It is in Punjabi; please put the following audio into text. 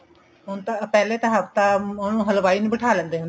ਹੁਣ ਤਾਂ ਪਹਿਲੇ ਤਾਂ ਹਫ਼ਤਾ ਉਹਨਾ ਨੂੰ ਹਲਵਾਈ ਨੂੰ ਬਠਾ ਲੈਂਦੇ ਹੁੰਦੇ